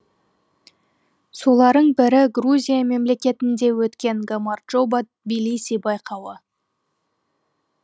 соларың бірі грузия мемлекетінде өткен гамарджоба тблиси байқауы